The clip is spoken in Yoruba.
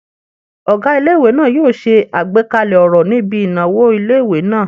Ọgá ilé-ìwé náà yóò ṣe àgbékalẹ̀ ọ̀rọ̀ níbi ìnáwó ilé-ìwé náà